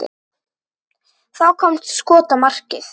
Það kom skot á markið.